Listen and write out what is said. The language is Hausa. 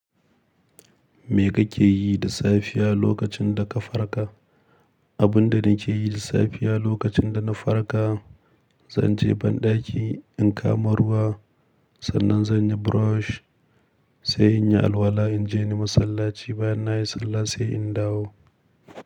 Me kake yi da safiya lokacin da ka farka? Abun da nake yi da safiya lokacin da na farka, zan je banɗaki in kama ruwa. Sannan zan yi brush, sai in yi alwala, in je ni masallaci. Bayan na yi sallah sai in dawo.